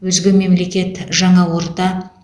өзге мемлекет жаңа орта